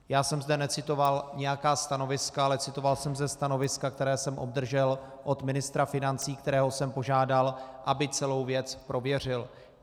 Já jsem zde necitoval nějaká stanoviska, ale citoval jsem ze stanoviska, které jsem obdržel od ministra financí, kterého jsem požádal, aby celou věc prověřil.